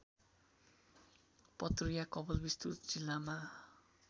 पतरिया कपिलवस्तु जिल्लामा